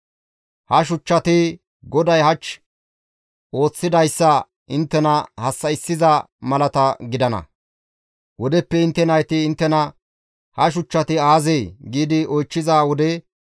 Ha shuchchati GODAY hach ooththidayssa inttena hassa7issiza malata gidana; wodeppe intte nayti inttena, ‹Ha shuchchati aazee?› giidi oychchiza wode,